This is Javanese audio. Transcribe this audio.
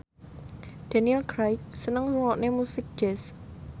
Daniel Craig seneng ngrungokne musik jazz